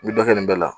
N bɛ dɔ kɛ nin bɛɛ la